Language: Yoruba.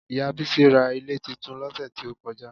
Ìyá Bísí ra ilé titun lọ́sẹ̀ tí ó kọjá